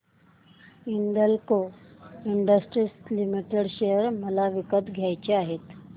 Hindalco industries limited share मला विकत घ्यायचे आहेत